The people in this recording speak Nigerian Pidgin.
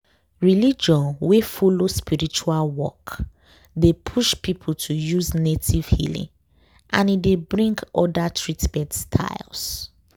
religion wey follow spiritual work dey push people to use native healing and e dey bring other treatment styles.